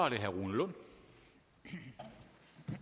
i